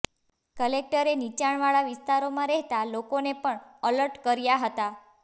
કલેક્ટરે નીચાણવાળા વિસ્તારોમાં રહેતા લોકોને પણ અલર્ટ કર્યા હતા